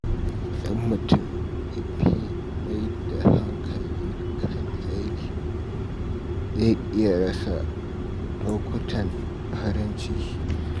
Idan mutum ya fi mai da hankali kan aiki, zai iya rasa lokutan farin ciki.